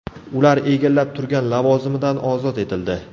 Ular egallab turgan lavozimidan ozod etildi.